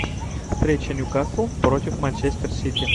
встреча ньюкасл против манчестер сити